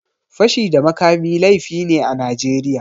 Fashi da makami laifi ne a Najeriya.